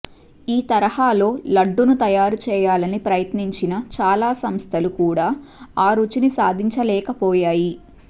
ఈ తరహాలో లడ్డూను తయారు చేయాలని ప్రయత్నించిన చాలా సంస్థలు కూడా ఆ రుచిని సాధించలేకపోయాయి